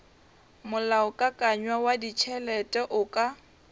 molaokakanywa wa ditšhelete o ka